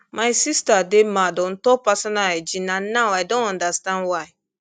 my sister dey mad on top personal hygiene and now i don understand why